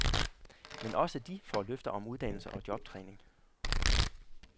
Men også de får løfter om uddannelse og jobtræning.